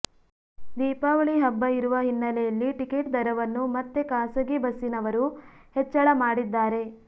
ದೀಪಾವಳಿ ಹಬ್ಬ ಇರುವ ಹಿನ್ನಲೆಯಲ್ಲಿ ಟಿಕೆಟ್ ದರವನ್ನು ಮತ್ತೆ ಖಾಸಗಿ ಬಸ್ಸಿನವರು ಹೆಚ್ಚಳ ಮಾಡಿದ್ದಾರೆ